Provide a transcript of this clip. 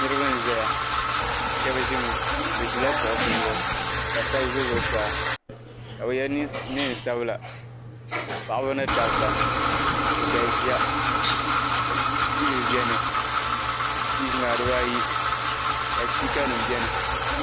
Niriba n-zaya shɛba ʒimi bɛ ʒila kuɣusi zuɣu ka shɛba ʒe zuɣusaa ka bɛ ye neen'sabila paɣiba ni dabba bɛ galisiya ka tiivi beni tiivi maa dibayi ka sipiikanima beni.